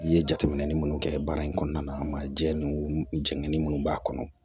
I ye jateminɛ minnu kɛ baara in kɔnɔna na jɛ ni jɛgɛni minnu b'a kɔnɔ